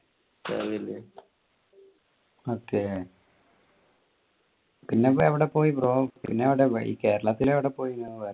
okay പിന്നെ എവിടെ പോയെ bro ഈ കേരളത്തിൽ എവിടെ പോയെ?